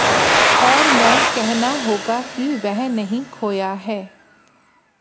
और मैं कहना होगा कि वह नहीं खोया है